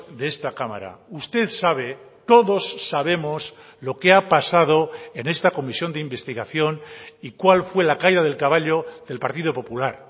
de esta cámara usted sabe todos sabemos lo que ha pasado en esta comisión de investigación y cuál fue la caída del caballo del partido popular